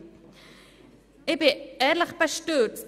Ich bin ehrlich bestürzt!